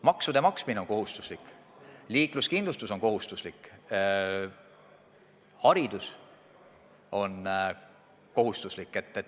Maksude maksmine on kohustuslik, liikluskindlustus on kohustuslik, haridus on kohustuslik.